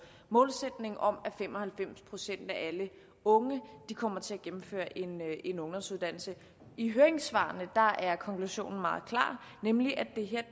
målsætningen om at fem og halvfems procent af alle unge kommer til at gennemføre en ungdomsuddannelse i høringssvarene er konklusionen meget klar nemlig at